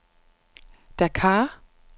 Dakar